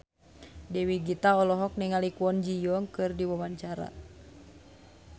Dewi Gita olohok ningali Kwon Ji Yong keur diwawancara